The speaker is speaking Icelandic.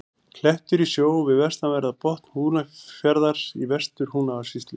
Klettur í sjó við vestanverðan botn Húnafjarðar í Vestur-Húnavatnssýslu.